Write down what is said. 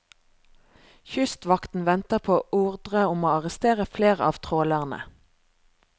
Kystvakten venter på ordre om å arrestere flere av trålerne.